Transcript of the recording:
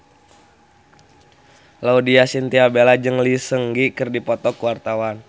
Laudya Chintya Bella jeung Lee Seung Gi keur dipoto ku wartawan